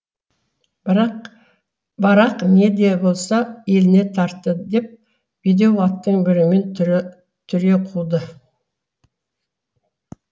барақ не де болса еліне тартты деп бедеу аттың бірімен түре түре қуды